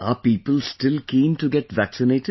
Are people still keen to get vaccinated